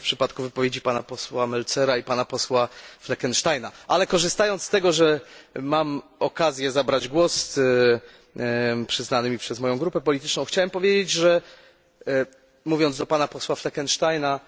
To było w przypadku wypowiedzi posła Meltzera i Fleckensteina, ale korzystając z tego, że mam okazję zabrać głos przyznany mi przez moją grupę polityczną, chciałbym powiedzieć, że mówiąc do posła Fleckensteina